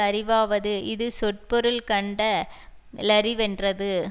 அறிவாவது இது சொற்பொருள் கண்ட லறிவென்றது